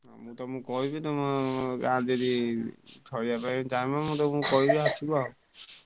ମୁଁ ତମୁକୁ କହିବି ତମେ ମୁଁ ତମୁକୁ କହିବି ଆସିବ।